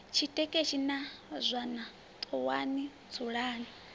tshitekeshi na zwana ṱuwani dzulani